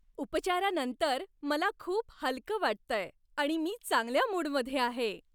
उपचारानंतर मला खूप हलकं वाटतंय आणि मी चांगल्या मूडमध्ये आहे.